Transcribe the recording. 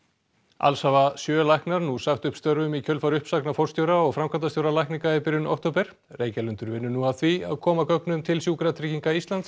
alls hafa sjö læknar nú sagt upp störfum í kjölfar uppsagna forstjóra og framkvæmdastjóra lækninga í byrjun október Reykjalundur vinnur nú að því að koma gögnum til Sjúkratrygginga Íslands